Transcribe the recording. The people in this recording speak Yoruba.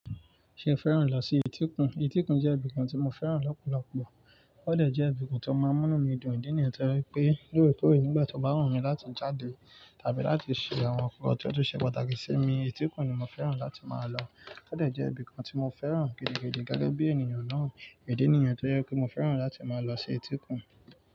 Ṣé o fẹ́ràn lọ sí etíkun? Etíkun jẹ́ ibìkan tí mo fẹ́ràn lọ́pọ̀lọpọ̀. Ó dẹ̀ jẹ́ ibìkan ti o máa ń mu inu mi dùn. Idi nìyẹn ti o je wi pé lóòrèkóòrè nígbà tó bá wunmí láti jáde tàbí láti ṣe àwọn nǹkan tó tó ṣe pàtàkì sí mi, etíkun ni mo fẹ́ràn láti máa lọ. Ó dẹ̀ jẹ́ ibìkan tí mo fẹ́ràn gidigidi gege bí ènìyàn náà. Idi nìyẹn ti ó je ki n maa fẹ́ràn láti máa lọ sí etíkun.